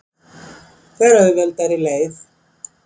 Fer auðveldari leið.